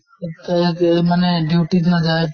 তে তে মানে duty ত নাযায়